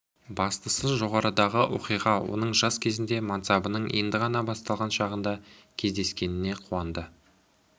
бастысы жоғарыдағы оқиға оның жас кезінде мансабының енді ғана басталған шағында кездескеніне қуанды